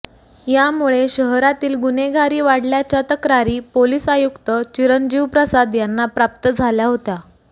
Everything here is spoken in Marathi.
यामुळे शहरातील गुन्हेगारी वाढल्याच्या तक्रारी पोलीस आयुक्त चिरंजीव प्रसाद यांना प्राप्त झाल्या होत्या